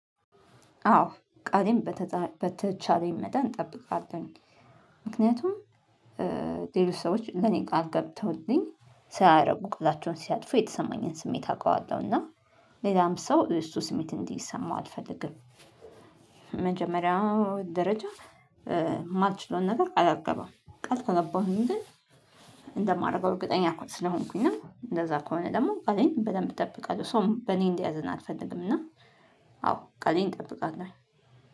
አዎ ቃሌን በተቻለኝ መጠን እጠብቃለሁኝ ምክንያቱም ሌሎች ሰዎች ለኔ ቃል ገብተውልኝ ሳያረጉ ቃላቸውን ሲያጥፉ የተሰማኝን ስሜት አውቀዋለሁ። እና ሌላም ሰው እሱ ስሜት እንዲሰማው አልፈልግም። በመጀመሪያው ደረጃ የማትችለውን ነገር ቃል አልገባም ቃል ከገባሁኝ ግን እንደማረገው እርግጠኛ እኮ ስለሆንኩኝ ነው እንደዛ ከሆነ ደግሞ ቃሌን በደንብ እጠብቃለሁ ሰውም በእኔ እንዲያዘን አልፈልግም። እና አዎ ቃሌን እጠብቃለሁ